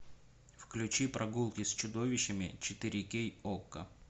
включи прогулки с чудовищами четыре кей окко